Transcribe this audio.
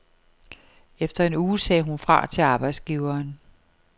Efter en uge sagde hun fra til arbejdsgiveren.